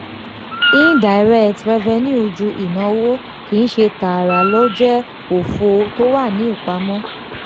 indirect revenue ju ìnáwó kìí ṣe tààrà lọ jẹ́ òfò tó wà ní ìpamọ́.